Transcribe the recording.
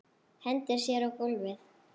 Hendir sér á gólfið.